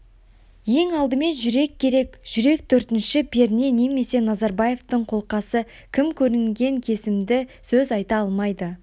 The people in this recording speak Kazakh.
ең алдымен жүрек керек жүрек төртінші перне немесе назарбаевтың қолқасы кім көрінген кесімді сөз айта алмайды